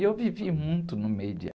E eu vivi muito no meio de